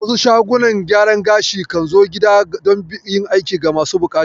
Wasu shagunan gyaran gashi kan zo gida don yin aiki ga masu buƙata